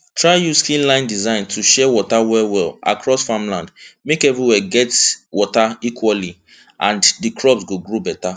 try use keyline design to share water wellwell across farmland make everywhere get water equally and di crops go grow better